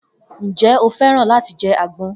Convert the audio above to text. Njẹ o fẹ́ràn láti jẹ àgbọn?